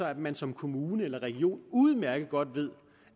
at man som kommune eller region udmærket godt ved